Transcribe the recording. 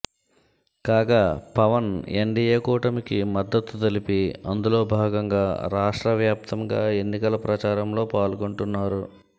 కాగా పవన్ ఎన్డీయే కూటమికి మద్దతు తెలిపి అందులో భాగంగా రాష్ట్ర వ్యాప్తంగా ఎన్నికల ప్రచారం లో పాల్గొంటున్నారు